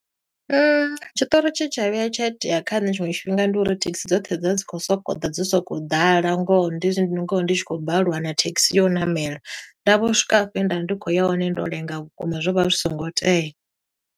Tshiṱori tshe tsha vhuya tsha itea kha nṋe tshiṅwe tshifhinga ndi uri thekhisi dzoṱhe dza dzi khou soko ḓa dzi soko u ḓala, ngoho ndi, ngoho ndi tshi khou balelwa u wana thekhisi ya u ṋamela. Nda vho swika afho he nda vha ndi khou ya hone, ndo lenga vhukuma zwo vha zwi songo tea.